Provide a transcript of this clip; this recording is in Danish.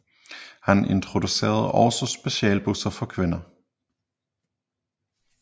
Han introducerede også specialbusser for kvinder